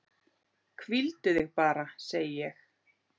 Hvíldu þig bara, segi ég.